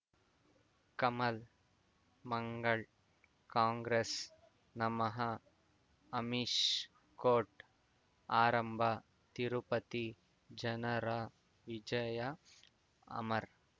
ಕಮಲ್ ಮಂಗಳ್ ಕಾಂಗ್ರೆಸ್ ನಮಃ ಅಮಿಷ್ ಕೋರ್ಟ್ ಆರಂಭ ತಿರುಪತಿ ಜನರ ವಿಜಯ ಅಮರ್